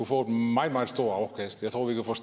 få et meget meget stort afkast